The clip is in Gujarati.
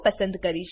પસંદ કરીશ